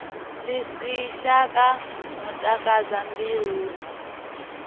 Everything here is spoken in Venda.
ḽi si shaka matakadza mbiluni